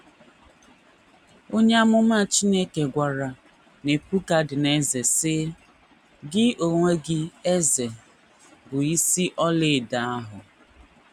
Onye amụma Chineke gwara Nebukadneza, sị: “ Gị onwe gị, eze,... bụ isi ọlaedo ahụ. ”